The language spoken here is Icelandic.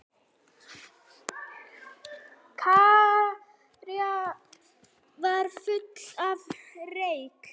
Kirkjan var full af reyk.